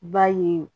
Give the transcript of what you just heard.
Ba ye